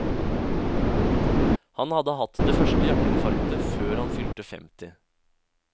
Han hadde hatt det første hjerteinfarktet før han fylte femti.